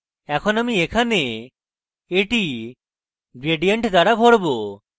এখন আমি এখানে এটি gradient দ্বারা ভরব